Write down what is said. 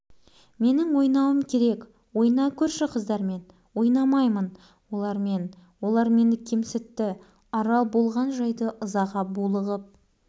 ағасы мен жеңгесі аралға болысудың орнына жатып күлді шынында бекер әкеліппіз саған мұңда көңілсіз болады екен